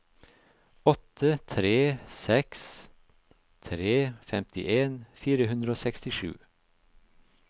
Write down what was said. åtte tre seks tre femtien fire hundre og sekstisju